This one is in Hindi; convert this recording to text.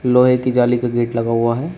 लोहे की जाली का गेट लगा हुआ है।